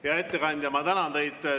Hea ettekandja, ma tänan teid!